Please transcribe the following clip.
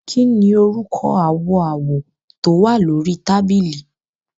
Kí ni orúkọ àwọ̀ awọ tó wà ní orí tábìlì?